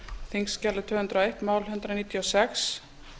þingskjali tvö hundruð og eitt mál hundrað níutíu og sex